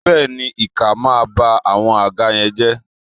béèni, ikan ma ba awọn àga yen je